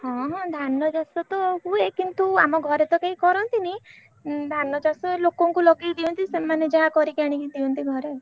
ହଁ ହଁ ଧାନ ଚାଷ ତ ହୁଏ କିନ୍ତୁ ଆମ ଘରେ ତ କେହି କରନ୍ତିନି ଧାନ ଚାଷ ଏଇ ଲୋକଙ୍କୁ ଲଗେଇଦିଅନ୍ତି ସେମାନେ ଯାହା କରିକି ଆଣି ଦିଅନ୍ତି ଘରେ ଆଉ।